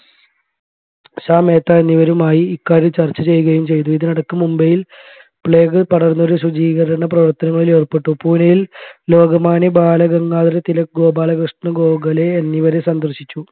ഷാ മേത്ത എന്നിവരുമായി ഈ കാര്യം ചർച്ചചെയ്യുകയും ചെയ്തു ഇതിനിടക്ക് മുംബൈയിൽ plague പടർന്ന് ഒരു ശുചീകരണ പ്രവർത്തനങ്ങളിൽ ഏർപ്പെട്ടു പൂനെയിൽ ലോകമാന്യ ബാലഗംഗാധര തിലക് ഗോപാലകൃഷ്ണ ഗോഖലെ എന്നിവരെ സന്ദർശിച്ചു